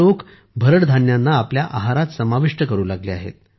लोक आता भरड धान्यांना आपल्या आहारात समाविष्ट करू लागले आहेत